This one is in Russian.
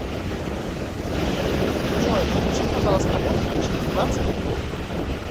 джой включи пожалуйста музыку через двадцать минут